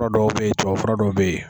Yɔrɔ dɔw bɛ yen tubabu fura dow bɛ yen.